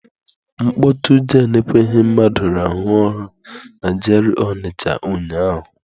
Mkpọtụ jen ekweghị mmadụ rahụọ ụra na G.R.A Ọnịcha ụnyaahụ.